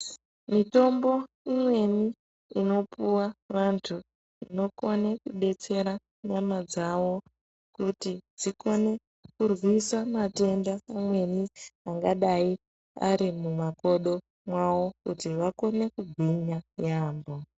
Mitombo imweni inopuwa vanthu inokone kudetsere nyamadzawo kuti dzikone kurwisa matenda amweni angadai ari mumakodo mwawo kuti vakone kugwinya yaampho.